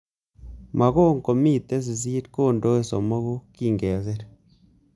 Mogon komitei sisit kondoe somok kingesir